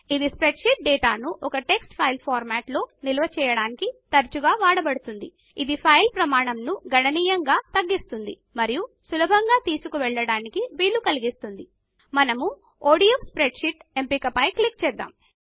ఇది spreadsheet డేటాను ఒక టెక్స్ట్ ఫైల్ ఫార్మాట్ లో నిల్వచేయటానికి తరచుగా వాడబడుతుంది ఇది ఫైల్ పరిమాణంను గణనీయముగా తగ్గిస్తుంది మరియు సులభంగా తీసుకుని వెళ్ళే వీలు కలిగిస్తుంది మనము ఒడిఎఫ్ స్ప్రెడ్షీట్ ఎంపిక పైన క్లిక్ చేద్దాము